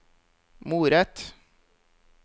moret